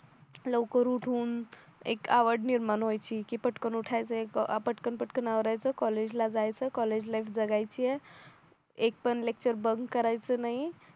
लवकर उठून एक आवड निर्माण व्हायची कि पटकन उठायचं पटकन पटकन आवरायचे कॉलेजला जायचं कॉलेज लाईफ जगायची आहे एक पण लेक्चर बंक करायचं नाही